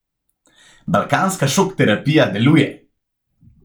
Balkanska šok terapija deluje!